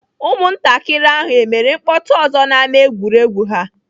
Ụmụntakịrị ahụ emere mkpọtụ ọzọ n'ámá egwuregwu ha?